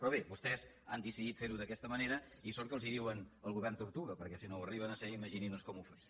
però bé vostès han decidit fer ho d’aquesta manera i sort que els diuen el govern tortuga perquè si no ho arriben a ser imaginin doncs com ho farien